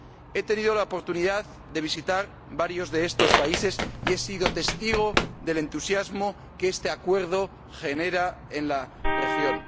He tenido la oportunidad de visitar varios de estos países y he sido testigo del entusiasmo que este Acuerdo genera en la región.